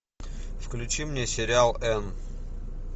включи мне сериал энн